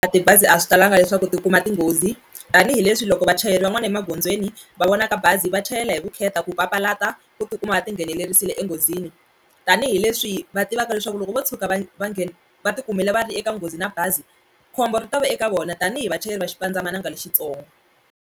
Tibazi a swi talanga leswaku tikuma tinghozi tanihileswi loko vachayeri van'wani emagondzweni va vonaka bazi va chayela hi vukheta ku papalata ku tikuma va ti nghenelerisile enghozini tanihileswi va tivaka leswaku loko vo tshuka va va nghena va ti kumile va ri eka nghozi na bazi khombo ri ta va eka vona tanihi vachayeri va xipandzamananga lexitsongo.